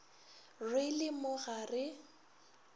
re le mo ga re